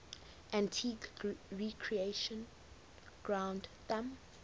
antigua recreation ground thumb